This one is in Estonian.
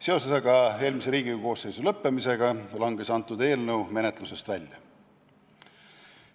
Seoses eelmise Riigikogu koosseisu lõppemisega langes see eelnõu menetlusest välja.